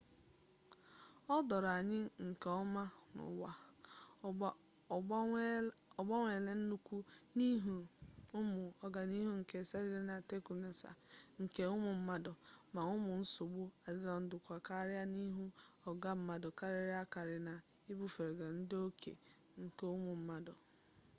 o doro anya nke ọma n'ụwa agbanweela nnukwu n'ihi ụmụ ọganihu nke sayensị na teknụzụ nke ụmụ mmadụ ma ụmụ nsogbu adịla nnukwu karịa n'ihi ọnụọgụgụ mmadụ karịrị akarị na ibifụga ndụ oke nke ụmụ mmadụ